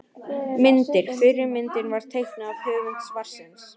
Myndir: Fyrri myndin var teiknuð af höfundi svarsins.